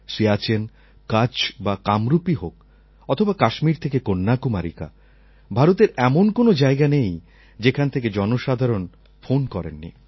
সিয়াচেন কচ্ছ বা কামরূপই হোক অথবা কাশ্মীর থেকে কন্যাকুমারিকা ভারতের এমন কোনও জায়গা নেই যেখান থেকে জনসাধারণ ফোন করেন নি